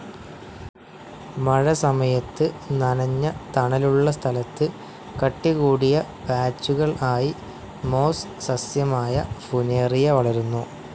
മഴസമയത്ത്, നനഞ്ഞ തണലുള്ള സ്ഥലത്ത് കട്ടികൂടിയ പാച്ചുകൾ ആയി മോസ്‌ സസ്യമായ ഫുനേറിയ വളരുന്നു.